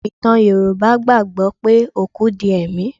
Ọ̀pọ̀ ìtàn Yorùbá gbà gbọ́ pé òkú di ẹ̀mí.